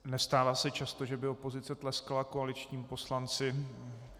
Nestává se často, že by opozice tleskala koaličnímu poslanci.